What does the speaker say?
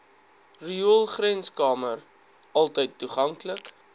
rioolgrenskamer altyd toeganklik